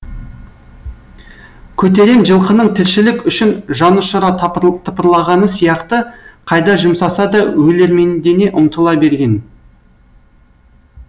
көтерем жылқының тіршілік үшін жанұшыра тыпырлағаны сияқты қайда жұмсаса да өлермендене ұмтыла берген